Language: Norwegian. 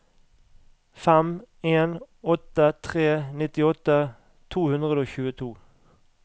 fem en åtte tre nittiåtte to hundre og tjueto